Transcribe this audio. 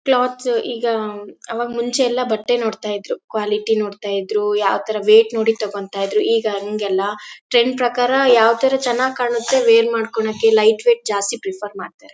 Clothes ಈಗ ಅವಾಗ್ ಮುಂಚೆ ಎಲ್ಲ ಬಟ್ಟೆ ನೋಡ್ತಾ ಇದ್ರೂ ಕ್ವಾಲಿಟಿ ನೋಡ್ತಾ ಇದ್ರು ಅವಾಗ ರೇಟ್ ನೋಡ್ತಾ ಇದ್ರೂ. ಇಗ ಹಂಗಲ್ಲ ಟ್ರೆಂಡ್ ಪ್ರಕಾರ ಯಾವ್ ತರ ಚೆನ್ನಾಗ್ ಕಾಣುತ್ತೆ ವೆರ್ ಮಾಡ್ಕೊಳ್ಳೋಕೆ ಲೈಟ್ ವೆಯಿಟ್ ಜಾಸ್ತಿ ಪ್ರೆಫೆರ್ ಮಾಡ್ತಾರೆ.